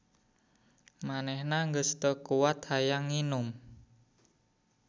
Manehna geus teu kuat hayang nginum.